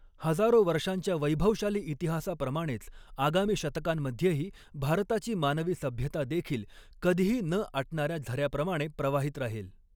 हजारो वर्षांच्या वैभवशाली इतिहासाप्रमाणेच आगामी शतकांमध्येही भारताची मानवी सभ्यता देखील कधीही न आटणाऱ्या झऱ्याप्रमाणे प्रवाहित राहील.